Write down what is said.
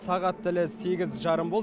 сағат тілі сегіз жарым болды